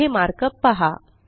येथे मार्कअप पहा